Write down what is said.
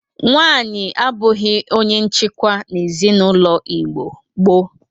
Nwaanyị abụghị onye nchikwa n'ezinaụlọ Igbo gboo.